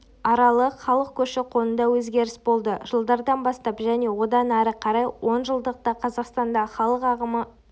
аралық халық көші-қонында өзгеріс болды жылдардан бастап және одан ары қарайғы онжылдықта қазақстандағы халық ағымы